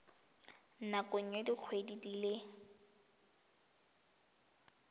nakong ya dikgwedi di le